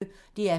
DR P1